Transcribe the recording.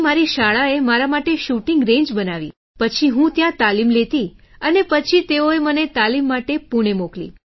પછી મારી શાળાએ મારા માટે શૂટિંગ રેન્જ બનાવી પછી હું ત્યાં તાલીમ લેતી અને પછી તેઓએ મને તાલીમ માટે પૂણે મોકલી